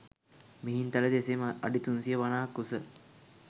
මිහින්තලයද එසේම අඩි 350ක් උස